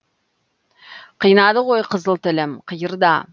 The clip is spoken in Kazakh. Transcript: қинады ғой қызыл тілім қиырда